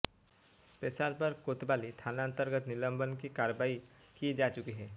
शैलेश पर कोतवाली थानांतर्गत निलंबन की कार्रवाई की जा चुकी है